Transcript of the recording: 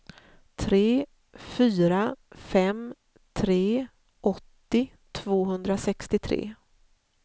tre fyra fem tre åttio tvåhundrasextiotre